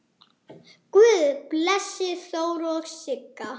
Guð blessi Þóru og Sigga.